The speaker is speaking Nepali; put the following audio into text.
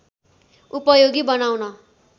उपयोगी बनाउन